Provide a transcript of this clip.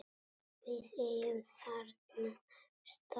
Við eigum þennan stað